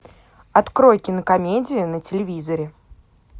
открой кинокомедию на телевизоре